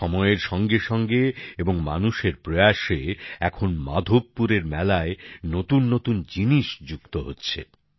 সময়ের সঙ্গেসঙ্গে এবং মানুষের প্রয়াসে এখন মাধবপুরের মেলায় নতুননতুন জিনিস যুক্ত হচ্ছে